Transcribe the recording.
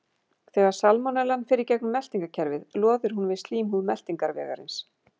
Þegar salmonellan fer í gegnum meltingarkerfið loðir hún við slímhúð meltingarvegarins.